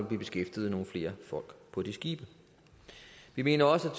blive beskæftiget nogle flere folk på de skibe vi mener også